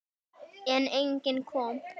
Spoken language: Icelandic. En enginn kom.